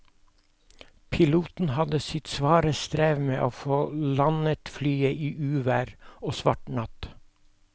Piloten hadde sitt svare strev med å få landet flyet i uvær og svart natt.